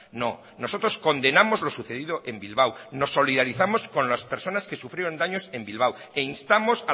no nosotros condenamos lo sucedido en bilbao nos solidarizamos con las personas que sufrieron daños en bilbao e instamos